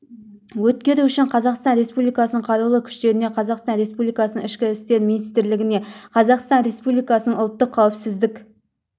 өткеру үшін қазақстан республикасының қарулы күштеріне қазақстан республикасының ішкі істер министрлігіне қазақстан республикасының ұлттық қауіпсіздік